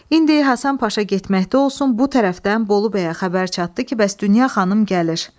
İndi Həsən Paşa getməkdə olsun, bu tərəfdən Bolu bəyə xəbər çatdı ki, bəs Dünya xanım gəlir.